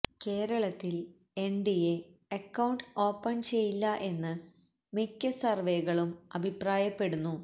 കേരളത്തിൽ NDA account open ചെയ്യില്ല എന്ന് മിക്ക സർവേകളും അഭിപ്രായപ്പെടുന്നു